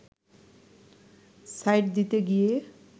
side দিতে গিয়ে